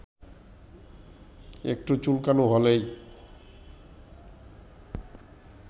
একটু চুলকানি হলেই